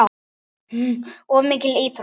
Of mikil íþrótt.